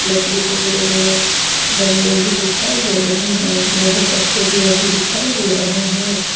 लकड़ी के बड़े बड़े डंडे भी दिखाई दे रहे हैं लोहे का सरिया भी दिखाई दे रहा है।